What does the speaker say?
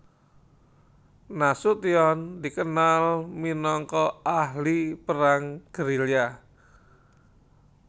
Nasution dikenal minangka ahli perang gerilya